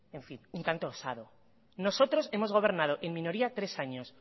un tanto osado nosotros hemos gobernado en minoría tres años